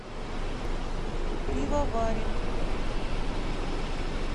пивоварим